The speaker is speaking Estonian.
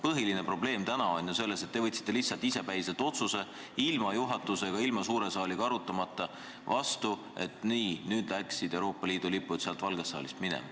Põhiline probleem on ju selles, et te võtsite lihtsalt isepäiselt, ilma juhatuse ja suure saaliga arutamata vastu otsuse, et nii, nüüd lähevad Euroopa Liidu lipud Valgest saalist minema.